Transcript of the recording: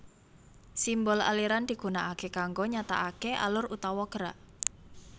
Simbol aliran digunakaké kanggo nyatakaké alur utawa gerak